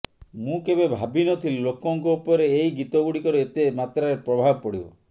ମୁଁ କେବେ ଭାବିନଥିଲି ଲୋକଙ୍କ ଉପରେ ଏଇ ଗୀତଗୁଡ଼ିକର ଏତେ ମାତ୍ରାରେ ପ୍ରଭାବ ପଡ଼ିବ